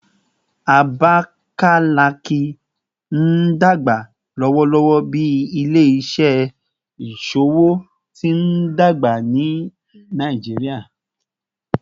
Abakalaki n dagba lọwọlọwọ bi ile-iṣẹ iṣowo ti ndagba ni Nigeria